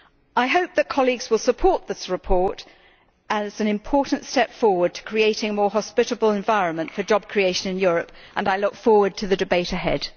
I hope that colleagues will support this report as an important step forward to creating a more hospitable environment for job creation in Europe and I look forward to the debate ahead.